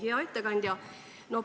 Hea ettekandja!